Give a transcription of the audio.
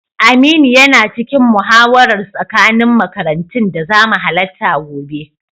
Aminu yana cikin muhawarar tsakanin makarantun da zamu halatta gobe.